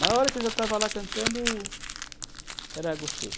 Na hora que eu já estava lá cantando, era gostoso.